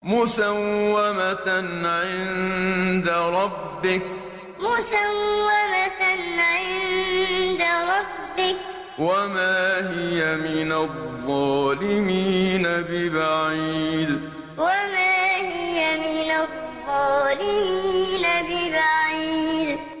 مُّسَوَّمَةً عِندَ رَبِّكَ ۖ وَمَا هِيَ مِنَ الظَّالِمِينَ بِبَعِيدٍ مُّسَوَّمَةً عِندَ رَبِّكَ ۖ وَمَا هِيَ مِنَ الظَّالِمِينَ بِبَعِيدٍ